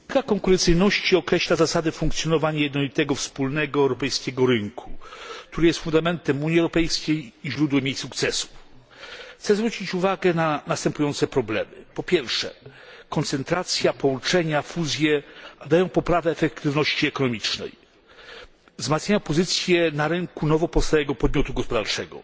Pani Przewodnicząca! Polityka konkurencyjności określa zasady funkcjonowania jednolitego wspólnego europejskiego rynku, który jest fundamentem Unii Europejskiej i źródłem jej sukcesów. Chcę zwrócić uwagę na następujące problemy. Po pierwsze, koncentracja, połączenia, fuzje dają poprawę efektywności ekonomicznej, wzmacniają pozycję na rynku nowo powstałego podmiotu gospodarczego,